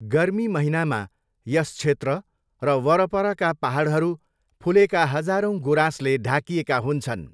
गर्मी महिनामा यस क्षेत्र र वरपरका पाहाडहरू फुलेका हजारौँ गुराँसले ढाकिएका हुन्छन्।